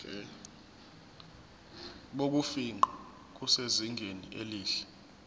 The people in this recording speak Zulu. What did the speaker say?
bokufingqa busezingeni elihle